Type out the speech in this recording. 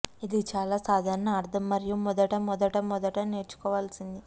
ఇది చాలా సాధారణ అర్ధం మరియు మొదట మొదట మొదట నేర్చుకోవాల్సినది